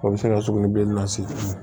O bɛ se ka sugunɛbilennin lase